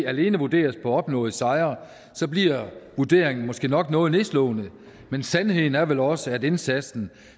alene vurderes på opnåede sejre bliver vurderingen måske nok noget nedslående men sandheden er vel også at indsatsen